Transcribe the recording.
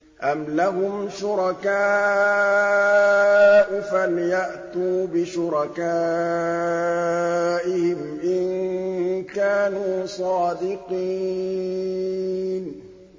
أَمْ لَهُمْ شُرَكَاءُ فَلْيَأْتُوا بِشُرَكَائِهِمْ إِن كَانُوا صَادِقِينَ